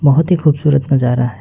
बहोत ही खूबसूरत नजारा है।